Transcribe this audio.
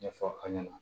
Ɲɛfɔ an ɲɛna